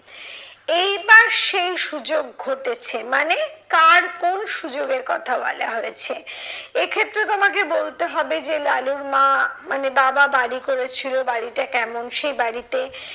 এইবার সেই সুযোগ ঘটেছে। মানে? কার কোন সুযোগের কথা বলা হয়েছে? এক্ষেত্রে তোমাকে বলতে হবে যে লালুর মা মানে বাবা বাড়ি করেছিল বাড়িটা কেমন সেই বাড়িতে